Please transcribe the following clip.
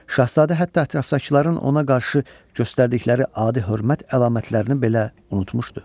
Şahzadə hətta ətrafdakıların ona qarşı göstərdikləri adi hörmət əlamətlərini belə unutmuşdu.